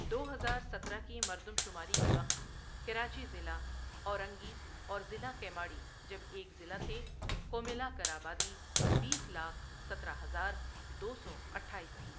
دو ہزار سترہ کی مردم شماری کے وقت، کراچی ضلع اورنگی اور ضلع کیماڑی جب ایک ضلع تھے کو ملا کر آبادی بیس لاکھ سترہ ہزار دو سو اٹھایس تھی۔